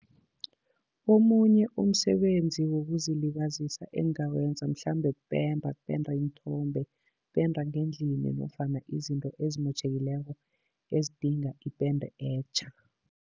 Omunye umsebenzi wokuzilibazisa engingawenza mhlambe kupenda, kupenda iinthombe, kupenda ngendlini nofana izinto ezimotjhekileko ezidinga ipende etjha.